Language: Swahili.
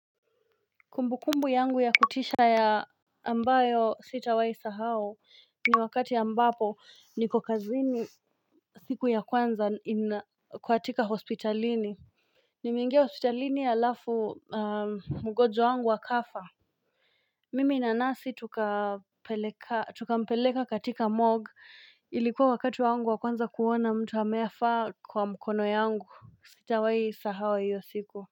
Kumbukumbu yangu ya kutisha ya ambayo sitawai sahau ni wakati ambapo ni kukazini siku ya kwanza ina kwa atika hospitalini Nimengia hospitalini ya alafu mgonjwa wangu wakafa Mimi na nasi tukapeleka katika MOG ilikuwa wakati wangu wakwanza kuona mtu ameafa kwa mkono yangu sitawai sahau iyo siku.